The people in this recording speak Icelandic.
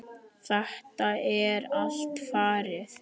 Þetta er allt farið.